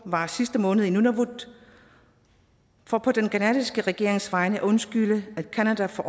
var sidste måned i nanivalut for på den canadiske regerings vegne at undskylde at canada for